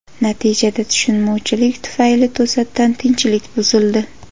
Natijada, tushunmovchilik tufayli to‘satdan tinchlik buzildi.